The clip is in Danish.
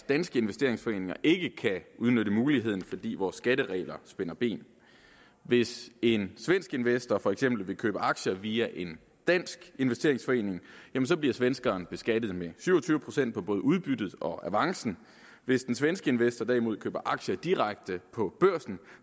danske investeringsforeninger ikke kan udnytte muligheden fordi vores skatteregler spænder ben hvis en svensk investor for eksempel vil købe aktier via en dansk investeringsforening bliver svenskeren beskattet med syv og tyve procent af både udbyttet og avancen hvis den svenske investor derimod køber aktier direkte på børsen